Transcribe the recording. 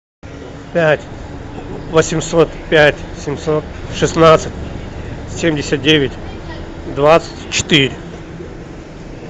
пять восемьсот пять семьсот шестнадцать семьдесят девять двадцать четыре